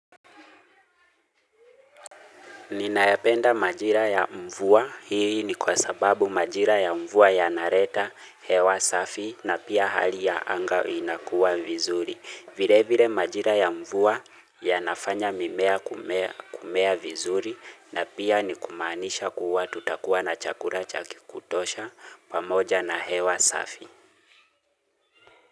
Ninayapenda majira ya mvua. Hii ni kwa sababu majira ya mvua yanareta hewa safi na pia hali ya anga inakuwa vizuri. Vile vile majira ya mvua yanafanya mimea kumea kumea vizuri na pia ni kumaanisha kuwa tutakuwa na chakula chakikutosha pamoja na hewa safi.